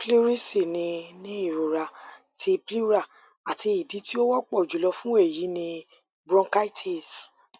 pleurisy ni ni irọra ti pleura ati idi ti o wọpọ julọ fun eyi ni bronchitis